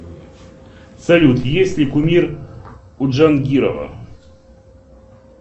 салют есть ли кумир у джангирова